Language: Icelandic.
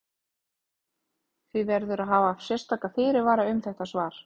Því verður að hafa sérstaka fyrirvara um þetta svar.